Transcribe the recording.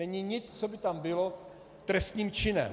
Není nic, co by tam bylo trestným činem.